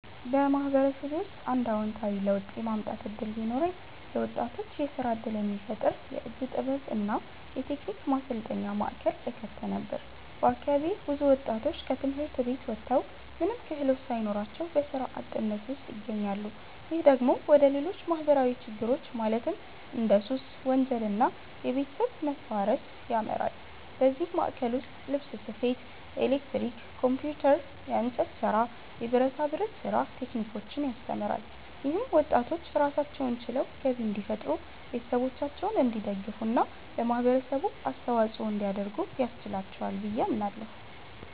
በማህበረሰቤ ውስጥ አንድ አዎንታዊ ለውጥ የማምጣት እድል ቢኖረኝ፣ ለወጣቶች የስራ እድል የሚፈጥር የእጅ ጥበብ እና የቴክኒክ ማሰልጠኛ ማዕከል እከፍት ነበር። በአካባቢዬ ብዙ ወጣቶች ከትምህርት ቤት ወጥተው ምንም ክህሎት ሳይኖራቸው በስራ አጥነት ውስጥ ይገኛሉ። ይህ ደግሞ ወደ ሌሎች ማህበራዊ ችግሮች ማለትም እንደ ሱስ፣ ወንጀል እና የቤተሰብ መፋረስ ያመራል። በዚህ ማዕከል ውስጥ ልብስ ስፌት፣ ኤሌክትሪክ፣ ኮምፒውተር፣ የእንጨት ስራ፣ የብረታ ብረት ስራ ቴክኒኮችን ያስተምራል። ይህም ወጣቶች ራሳቸውን ችለው ገቢ እንዲፈጥሩ፣ ቤተሰቦቻቸውን እንዲደግፉ እና ለማህበረሰቡ አስተዋጽኦ እንዲያደርጉ ያስችላቸዋል ብዬ አምናለሁ።